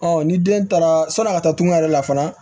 ni den taara sɔnni ka taa tunga yɛrɛ la fana